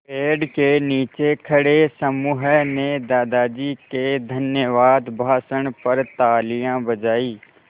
पेड़ के नीचे खड़े समूह ने दादाजी के धन्यवाद भाषण पर तालियाँ बजाईं